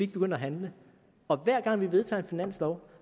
begynder at handle og hver gang vi vedtager en finanslov